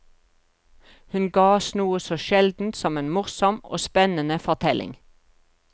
Hun ga oss noe så sjeldent som en morsom og spennende fortelling.